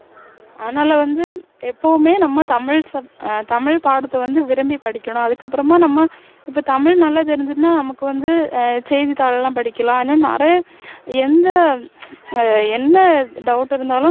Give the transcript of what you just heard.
அதனால வந்து எப்பவுமே நம்ம தமிழ் ஆஹ் தமிழ் பாடத்தை வந்து விரும்பி படிக்கணும் அதுக்கப்பறமா நம்ம இப்போ தமிழ் நல்லா தெரிஞ்சுதுன்னா நமக்கு வந்து ஆஹ் செய்தித்தாள் எல்லாம் படிக்கலாம் இன்னும் நிறைய எந்த ஆஹ் என்ன doubt இருந்தாலும்